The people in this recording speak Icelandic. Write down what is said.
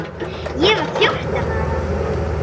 Ég var fjórtán ára.